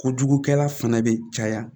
Kojugukɛla fana bɛ caya